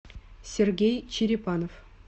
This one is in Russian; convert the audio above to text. сергей черепанов